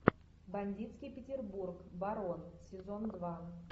бандитский петербург барон сезон два